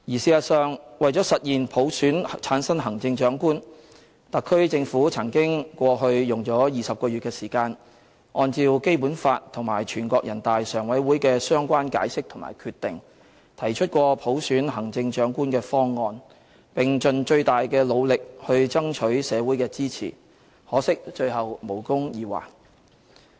事實上，為了實現普選產生行政長官，特區政府過去曾經用了20個月的時間，按照《基本法》和全國人大常委會的相關解釋和決定，提出過普選行政長官的方案，並盡最大努力爭取社會的支持，可惜最後無功而還。